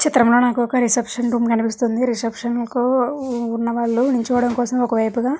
చిత్రం లో నాకు ఒక రిసెప్షన్ రూమ్ కనిపిస్తుంది. రిసెప్షన్ కు ఉన్నవాళ్లు నిల్చోవడం కోసం ఒక వైపుగా --